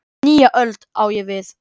"""Nýja öld, á ég við."""